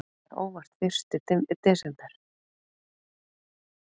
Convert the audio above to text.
Það er óvart fyrsti desember.